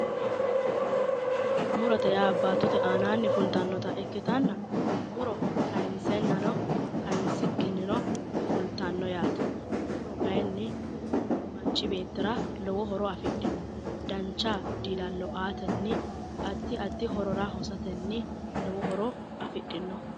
Muro, murote yaa baattote aanani fultanotta ikkittanna kayinsennano kayinsikkinino fulittano yaate, muro kayinni manchi beettira lowo horo afidhino dancha diila'lo aatenna addi addi horora hosateni lowo horo afidhino.